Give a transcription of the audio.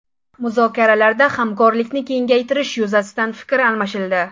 Muzokaralarda hamkorlikni kengaytirish yuzasidan fikr almashildi.